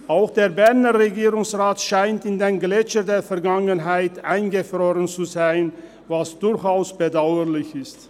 Auch der Berner Regierungsrat scheint in den Gletschern der Vergangenheit eingefroren zu sein, was durchaus bedauerlich ist.